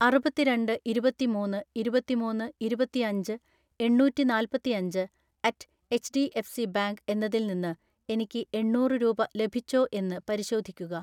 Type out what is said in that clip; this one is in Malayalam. അറുപത്തിരണ്ട് ഇരുപത്തിമൂന്ന് ഇരുപത്തിമൂന്ന് ഇരുപത്തിഅഞ്ച് എണ്ണൂറ്റിനാല്പത്തിഅഞ്ച് അറ്റ് എച്ച്ഡിഎഫ്സി ബാങ്ക് എന്നതിൽ നിന്ന് എനിക്ക് എണ്ണൂറ് രൂപ ലഭിച്ചോ എന്ന് പരിശോധിക്കുക.